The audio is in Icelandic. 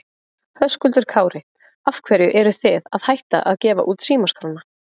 Höskuldur Kári: Af hverju eruð þið að hætta að gefa út símaskrána?